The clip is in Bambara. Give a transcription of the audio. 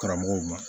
Karamɔgɔw ma